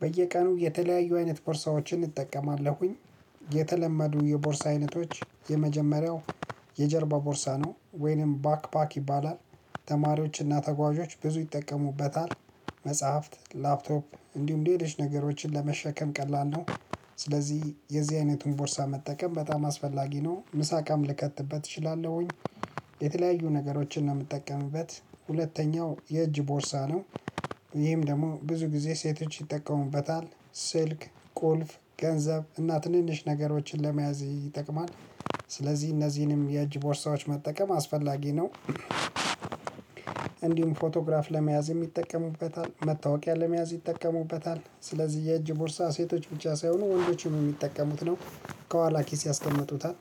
በየቀኑ የተለያዩ አይነት ቦርሳዎችን እንጠቀማለን። የተለመዱ የቦርሳ አይነቶች የመጀመሪያው የጀርባ ቦርሳ ነው ወይንም ባክባክ ይባላል። ተማሪዎችና ተጓዦች ብዙ ይጠቀሙበታል። መጽሐፍት፣ ላፕቶፕ እንዲሁም ሌሎች ነገሮችን ለመሸከም ቀላል ነው። ስለዚህ የዚህ አይነቱን ቦርሳ መጠቀም በጣም አስፈላጊ ነው። ምሳ እቃም ልከትበት እችላለሁኝ። የተለያዩ ነገሮችን ነው የምትጠቀምበት። ሁለተኛው የእጅ ቦሳ ነው። ይሄም ደግሞ ብዙ ጊዜ ሴቶች ይጠቀሙበታል። ስልክ፣ ቁልፍ፣ ገንዘብ እና ትንንሽ ነገሮችን ለመያዝ ይጠቅማል። ስለዚህ እነዚህንም የእጅ ቦርሳዎች መጠቀም አስፈላጊ ነው። እንዲሁም ፎቶግራፍ ለመያዝ የሚጠቀሙበታል፣ መታወቂያ ለመያዝ ይጠቀሙበታል። ስለዚህ የእጅ ቦርሳ ሴቶች ብቻ ሳይሆኑ ወንዶችም የሚጠቀሙት ነው። ከኋላ ኪስ ያስቀመጡታል።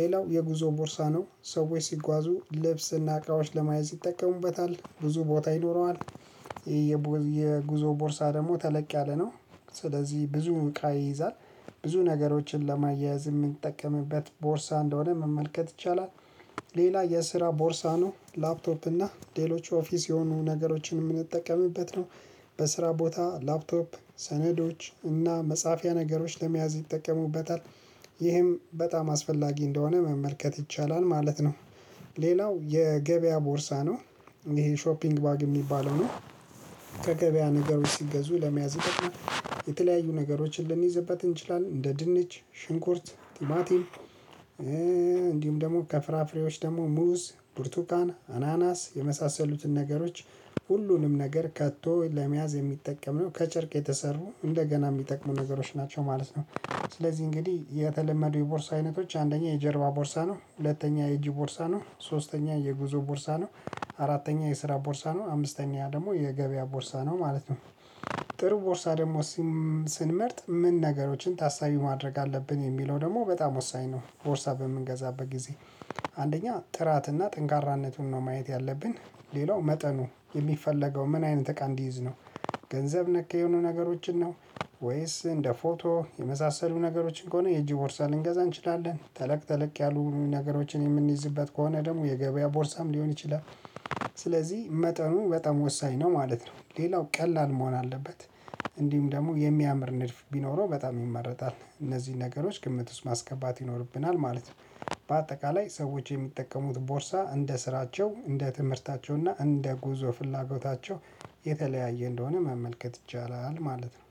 ሌላው የጉዞ ቦርሳ ነው። ሰዎች ሲጓዙ ልብስና እቃዎች ለማየት ይጠቀሙበታል። ብዙ ቦታ ይኖረዋል። የጉዞ ቦርሳ ደግሞ ተለቅ ያለ ነው። ስለዚህ ብዙ እቃ ይይዛል። ብዙ ነገሮችን ለማያያዝ የምንጠቀምበት ቦርሳ እንደሆነ መመልከት ይቻላል። ሌላ የስራ ቦርሳ ነው። ላፕቶፕ እና ሌሎች ኦፊስ የሆኑ ነገሮችን የምንጠቀምበት ነው። በስራ ቦታ ላፕቶፕ፣ ሰነዶች እና መጻፊያ ነገሮች ለመያዝ ይጠቀሙበታል። ይህም በጣም አስፈላጊ እንደሆነ መመልከት ይቻላል ማለት ነው። ሌላው የገበያ ቦርሳ ነው። ይሄ ሾፒንግ ባግ የሚባለው ነው። ከገበያ ነገሮች ሲገዙ ለመያዝ የተለያዩ ነገሮችን ልንይዝበት እንችላለን። እንደ ድንች፣ ሽንኩርት፣ ቲማቲም እንዲሁም ደግሞ ከፍራፍሬዎች ደግሞ ሙዝ፣ ብርቱካን፣ አናናስ የመሳሰሉትን ነገሮች ሁሉንም ነገር ከቶ ለመያዝ የሚጠቀም ነው። ከጭርቅ የተሰሩ እንደገና የሚጠቅሙ ነገሮች ናቸው ማለት ነው። ስለዚህ እንግዲህ የተለመዱ የቦርሳ አይነቶች አንደኛ የጀርባ ቦርሳ ነው፣ ሁለተኛ የእጂ ቦርሳ ነው፣ ሶስተኛ የጉዞ ቦርሳ ነው፣ አራተኛ የስራ ቦርሳ ነው፣ አምስተኛ ደግሞ የገበያ ቦርሳ ነው ማለት ነው። ጥሩ ቦርሳ ደግሞ ስንመርጥ ምን ነገሮችን ታሳቢ ማድረግ አለብን? የሚለው ደግሞ በጣም ወሳኝ ነው። ሶርሳ በምንገዛበት ጊዜ አንደኛ ጥራትና ጥንካነቱን ነው ማየት ያለብን። ሌላው መጠኑ። የሚፈለገው ምን አይነት እቃ እንዲይዝ ነው? ገንዘብ ነክ የሆኑ ነገሮችን ነው? ወይስ እንደ ፎቶ የመሳሰሉ ነገሮችን ከሆነ የእጂ ቦርሳ ልንገዛ እንችላለን። ተለቅ ተለቅ ያሉ ነገሮችን የምንይዝበት ከሆነ ደግሞ የገበያ ቦርሳም ሊሆን ይችላል። ስለዚህ መጠኑ በጣም ወሳኝ ነው ማለት ነው። ሌላው ቀላል መሆን አለበት። እንዲሁም ደግሞ የሚያምር ንድፍ ቢኖረው በጣም ይመረጣል። እነዚህን ነገሮች ግምት ውስጥ ማስገባት ይኖርብናል ማለት ነው። በአጠቃላይ ሰዎች የሚጠቀሙት ቦርሳ እንደ ስራቸው፣ እንደ ትምህርታቸው እና እንደ ጉዞ ፍላጎታቸው የተለያየ እንደሆነ መመልከት ይቻላል ማለት ነው።